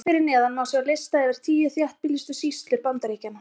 Hér fyrir neðan má sjá lista yfir tíu þéttbýlustu sýslur Bandaríkjanna.